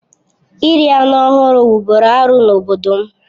Iri anụ ọhụrụ wụ́bụ́ru arụ n'obodo m